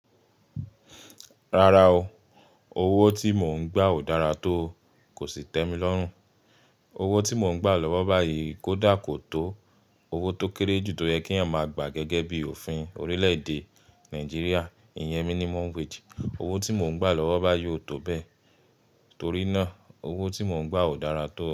Rárá o, owó tí mò ń gbà ò dára tó, kò sì tẹ́mi lọ́rùn. Owó tí mò ń gbà lọ́wọ́ báyìí kò dá ko tó owó tó kéré jù tó yẹ kí èèyàn máa gbà gẹ́gẹ́ bí òfin orílẹ̀-èdè Nàìjíríà, ìyẹn minimum wage. Owó tí mò ń gbà lọ́wọ́ báyìí ò tó bẹ́ẹ̀, torí náà owó tí mò ń gbà ò dára tó.